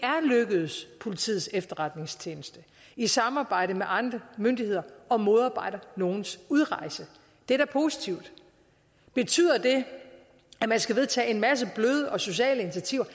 lykkedes politiets efterretningstjeneste i samarbejde med andre myndigheder at modarbejde nogles udrejse det er da positivt betyder det at man skal vedtage en masse bløde og sociale initiativer